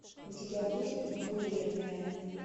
у тебя будет бойлерная